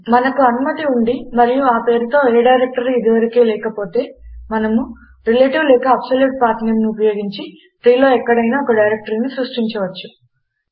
మనకు అనుమతి ఉండి మరియు ఆ పేరుతో ఏ డైరెక్టరీ ఇది వరకే లేకపోతే మనము రిలేటివ్ లేక అబ్సొల్యూట్ పాత్ నేమ్ ను ఉపయోగించి ట్రీలో ఎక్కడైనా ఒక డైరెక్టరీని సృష్టించవచ్చు